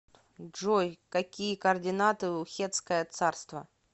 джой какие координаты у хеттское царство